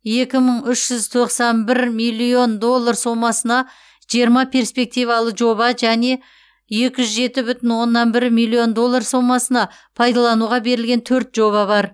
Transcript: екі мың үш жүз тоқсан бір миллион доллар сомасына жиырма перспективалы жоба және екі жүз жеті бүтін оннан бір миллион доллар сомасына пайдалануға берілген төрт жоба бар